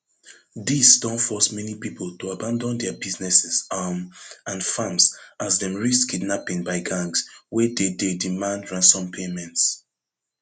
dis don force many pipo to abandon dia businesses um and farms as dem risk kidnapping by gangs wey dey dey demand ransom payments